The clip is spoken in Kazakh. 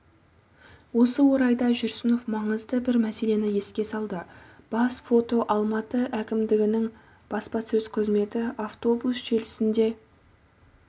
осы орайда жүрсінов маңызды бір мәселені еске салды бас фото алматы әкімдігінің баспасөз қызметі автобус желісінде